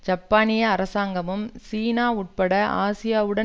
ஜப்பானிய அரசாங்கமும் சீனா உட்பட ஆசியாவுடன்